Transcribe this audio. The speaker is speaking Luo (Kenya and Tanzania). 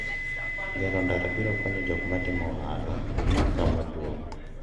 gero ndara biro konyo jok matimo ohala kamaduong'